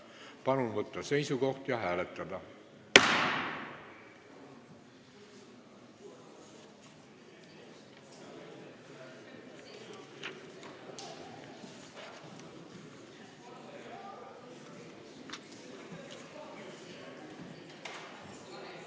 Palun võtta seisukoht ja hääletada!